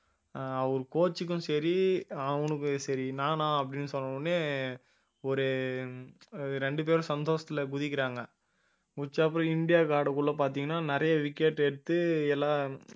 ஆஹ் அவரு coach க்கும் சரி அவனுக்கும் சரி நானா அப்படின்னு சொன்ன உடனே ஒரு ரெண்டு பேரும் சந்தோஷத்துல குதிக்கறாங்க, குதிச்சப்புறம் இந்தியாவுக்கு ஆடக்குள்ள பாத்தீங்கன்னா நிறைய wicket எடுத்து எல்லாம்